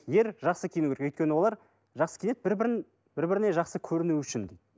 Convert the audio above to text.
ер жақсы киінуі керек өйткені олар жақсы киінеді бір бірін бір біріне жақсы көріну үшін